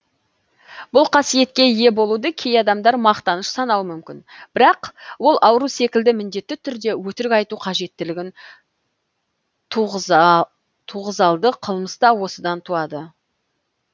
бұл қасиетке ие болуды кей адамдар мақтаныш санауы мүмкін бірақ ол ауру секілді міндетті түрде өтірік айту қажеттілігін туғызалды қылмыс та осыдан туады